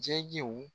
Jɛgɛw